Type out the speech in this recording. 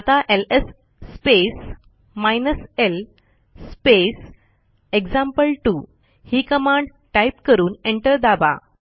आता LS space hyphen L space एक्झाम्पल2 ही कमांड टाईप करून एंटर दाबा